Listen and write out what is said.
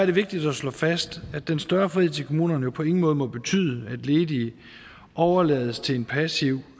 det vigtigt at slå fast at den større frihed til kommunerne jo på ingen måde må betyde at ledige overlades til en passiv